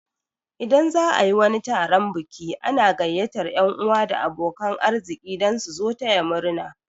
Idan za'a yi wani taron biki ana gaiyatar yan 'uwa da abokan arziki dan su zo taya murna